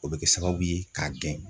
O bɛ kɛ sababu ye k'a gɛn.